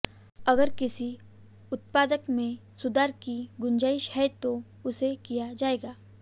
अगर किसी उत्पाद में सुधार की गुंजाइश है तो उसे किया जाएगा